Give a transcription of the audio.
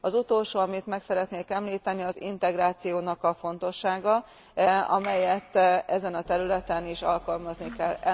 Az utolsó, amit meg szeretnék említeni, az integrációnak a fontossága, amelyet ezen a területen is alkalmazni kell.